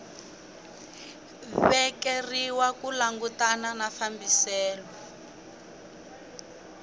vekeriwa ku langutana na fambiselo